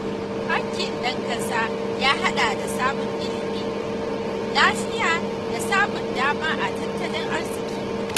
Haƙƙin ɗan ƙasa ya haɗa da samun ilimi, lafiya, da samun dama a tattalin arziƙi.